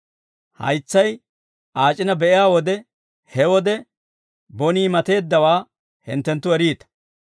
Haytsay aac'ina be'iyaa wode, he wode bonii mateeddawaa hinttenttu eriita.